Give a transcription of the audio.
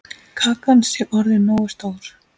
Kakan sé orðin nógu stór.